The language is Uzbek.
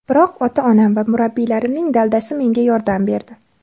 Biroq ota-onam va murabbiylarimning daldasi menga yordam berdi.